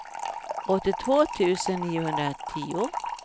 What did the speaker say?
åttiotvå tusen niohundratio